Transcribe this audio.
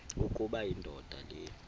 ukuba indoda le